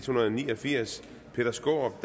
hundrede og ni og firs peter skaarup